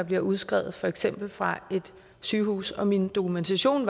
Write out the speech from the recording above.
bliver udskrevet for eksempel fra et sygehus og min dokumentation